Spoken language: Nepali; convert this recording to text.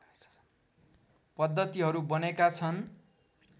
पद्दतिहरू बनेका छन्